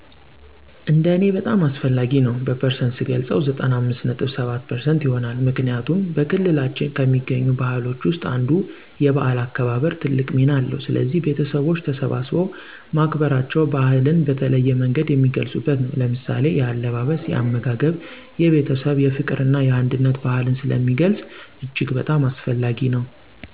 እንደ እኔ በጣም አስፈላጊ ነው በፐርሰንት ስገልፀው 95.7% ይሆናል። ምክንያቱም፦ በክልላችን ከሚገኙት ባህሎች ውስጥ አንዱ 'የበዓል' አከባበር ትልቅ ሚና አለው። ስለዚህ ቤተሠቦች ተሠባስበው ማክበራቸው ባህልን በተለያየ መንገድ የሚገልፁበት ነው። ለምሳሌ፦ የአለባበስ፣ የአመጋገብ፣ የቤተሰብ፣ የፍቅር እና የአንድነት ባህልን ስለሚገልፅ እጅግ በጣም አስፈላጊ ነው።